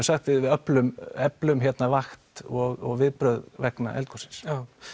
sagt við eflum eflum vakt og viðbrögð vegna eldgossins